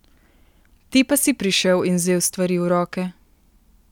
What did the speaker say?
Ti pa si prišel in vzel stvari v roke!